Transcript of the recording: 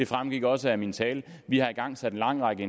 fremgik også af min tale vi har igangsat en lang række